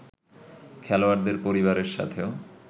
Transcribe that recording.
খেলোয়াড়দের পরিবারের সাথেও